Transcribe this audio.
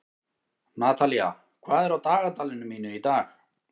Natalía, hvað er á dagatalinu mínu í dag?